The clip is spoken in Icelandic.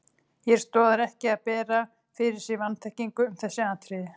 Hér stoðar ekki að bera fyrir sig vanþekkingu um þessi atriði.